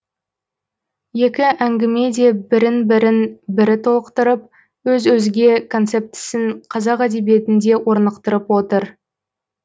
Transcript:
екі әңгіме де бірін бірін бірі толықтырып өз өзге концептісін қазақ әдебиетінде орнықтырып отыр